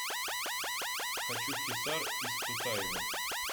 хочу в хисар из тутаева